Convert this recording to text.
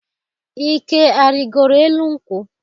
Ike arịgoro elu nkwụ?